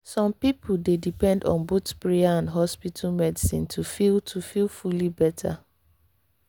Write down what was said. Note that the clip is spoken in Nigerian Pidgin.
some people dey depend on both prayer and hospital medicine to feel to feel fully better.